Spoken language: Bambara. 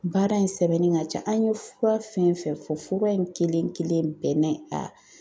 Baara in sɛbɛnnen ka ca , ,an ye fura fɛn fɛn fɔ fura in kelen kelen bɛɛ na a